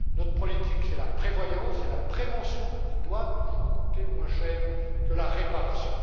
Notre politique, c'est la prévoyance, c'est la prévention qui doit toujours coûter moins cher que la réparation.